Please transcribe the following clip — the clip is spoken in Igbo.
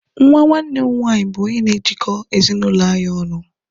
Nwa nwanne m nwanyị bu onye n'ejiko ezi n'ụlọ anyị ọnụ